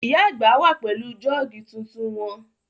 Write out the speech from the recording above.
Ìyá àgbà wà pẹ̀lú jọ́ọ̀gì tuntun wọn